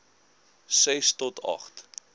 ses to agt